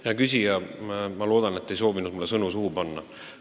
Hea küsija, ma loodan, et te ei soovinud mulle sõnu suhu panna.